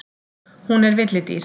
Hún er villidýr.